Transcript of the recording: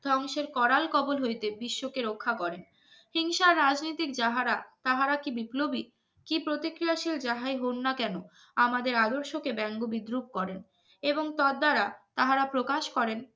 ধ্বংসের করাল কবুল হইতে বিশ্বকে রক্ষা করে সিং সা রাজনিতি যাহারা তাহারা কি বিপ্লবী কি প্রতিক্রিয়াশীল যা হয় হোক না কেন আমাদের আদর্শকে ব্যঙ্গ বিদ্রুপ করেন এবং তার দ্বারা প্রকাশ করেন